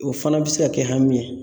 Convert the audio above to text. O fana bɛ se ka kɛ hami ye